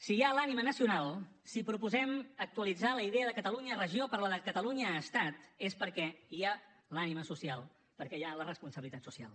si hi ha l’ànima nacional si proposem actualitzar la idea de catalunya regió per la de catalunya estat és perquè hi ha l’ànima social perquè hi ha la responsabilitat social